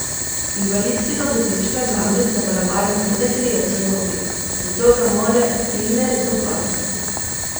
Invalidskega vozička namreč zavarovalnica ne krije v celoti, zato ga mora Imer doplačati.